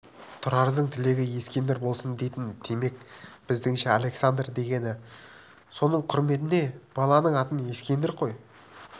тұрардың тілегі ескендір болсын дейтін демек біздіңше александр дегені соның құрметіне баланың атын ескендір қой